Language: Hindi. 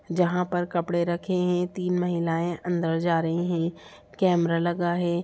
जहा पर कपड़े रखे हैं | तीन महिलाएं अंदर जा रही है | कैमरा लगा है।